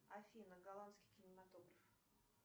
афина голландский кинематограф